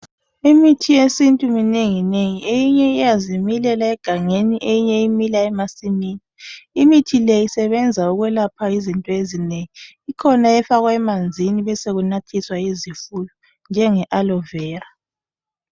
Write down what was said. Imithi yesintu minenginengi eyinye iyazimilela egangeni eyinye imila emasimini. Imithi le isebenza ukwelapha izinto ezinengi. Ikhona efakwa emanzini besekunathiswa izifuyo njenge aloe vera